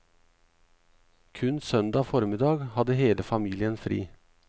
Kun søndag formiddag hadde hele familien fri.